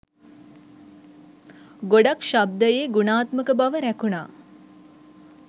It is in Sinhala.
ගොඩක් ශබ්දයේ ගුණාත්මක බව රැකුණා.